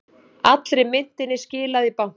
Allri myntinni skilað í banka